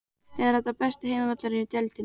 Er þetta besti heimavöllurinn í deildinni?